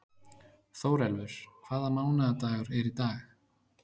Þórelfur, hvaða mánaðardagur er í dag?